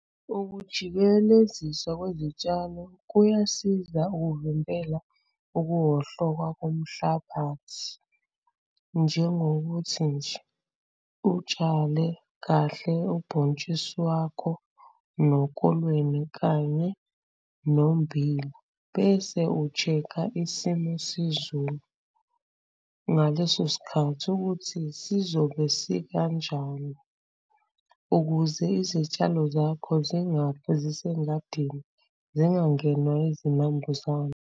Ukujikeleziswa kwezitshalo kuyasiza ukuvimbela ukuwohloka komhlabathi, njengokuthi nje utshale kahle ubhontshisi wakho, nokolweni, kanye nommbila bese u-check-a isimo sezulu ngaleso sikhathi ukuthi sizobe sikanjani ukuze izitshalo zakho zingafi zisengadini zingangenwa izinambuzane.